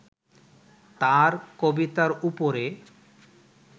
তাঁর কবিতার ওপরে